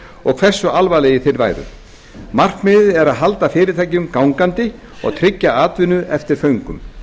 og hversu alvarlegir þeir væru markmiðið er að halda fyrirtækjum gangandi og tryggja atvinnu eftir föngum